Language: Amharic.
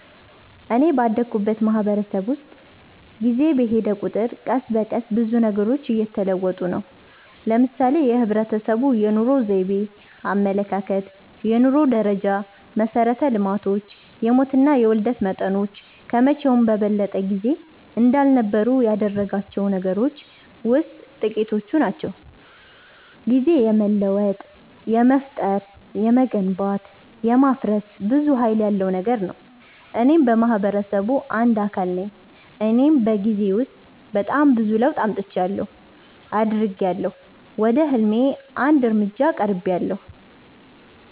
እኔ ባደኩበት ማህበረሰብ ውስጥ ጊዜ በሔደ ቁጥር ቀስ በቀስ ብዙ ነገሮች እየተለወጡ ነው። ለምሳሌ የህብረተሰቡ የኑሮ ዘይቤ፣ አመለካከት፣ የኑሮ ደረጃ፣ መሠረተ ልማቶች፣ የሞትና የውልደት መጠኖች ከመቼውም በበለጠ ጊዜ እንዳልነበሩ ያደረጋቸው ነገሮች ውሥጥ ጥቂቶቹ ናቸው። ጊዜ የመለወጥ፣ የመፍጠር፣ የመገንባት፣ የማፍረስ ብዙ ሀይል ያለው ነገር ነው። እኔም የማህበረሰቡ አንድ አካል ነኝ እኔም በጊዜ ውስጥ በጣም ብዙ ለውጥ አምጥቻለሁ። አድጊያለሁ፣ ወደ ህልሜ አንድ እርምጃ ቀርቤያለሁ።